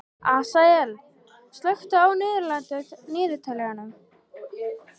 Asael, slökktu á niðurteljaranum.